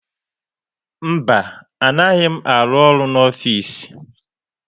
Mba, anaghị m aru ọrụ n'ofisi